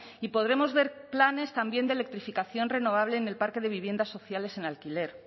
y podremos ver planes también de electrificación renovable en el parque de viviendas sociales en alquiler